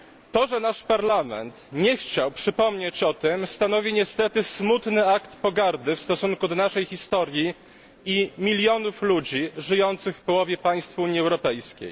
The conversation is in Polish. To, że nasz Parlament nie chciał przypomnieć o tym stanowi niestety smutny akt pogardy w stosunku do naszej historii i milionów ludzi żyjących w połowie państw Unii Europejskiej.